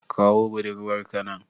Kawo buɗurwar ka nan.